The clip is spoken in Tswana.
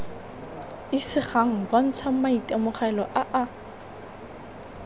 isegang bontsha maitemogelo a a